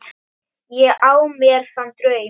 Ég á mér þann draum.